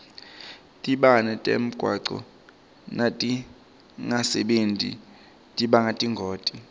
tibane temgwaco natingasebenti tibanga tingoti